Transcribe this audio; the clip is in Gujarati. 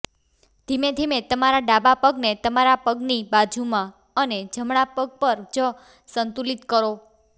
ધીમે ધીમે તમારા ડાબા પગને તમારા પગની બાજુમાં અને જમણા પગ પર જ સંતુલિત કરો